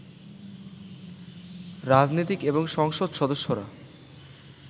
রাজনীতিক এবং সংসদ সদস্যরা